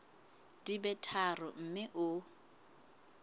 di be tharo mme o